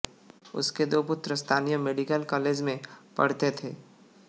उसके दो पुत्र स्थानीय मेडिकल कालेज में पढ़ते थे